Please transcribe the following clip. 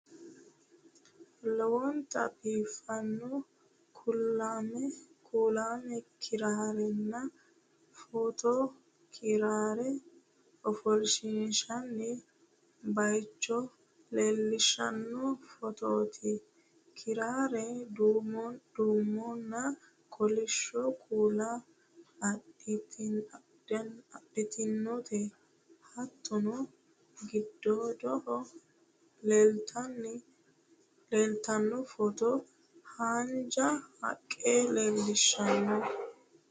Lowonta biiffanno kuulaame kiraarenna footo kiraare ofoshshiinshoonni baycho leellishshanno footooti. kiraare duumonna kolishsho kuula adidhinote. hattono gidigiddaho leeltanno footo haanja haqqe leellishshanno.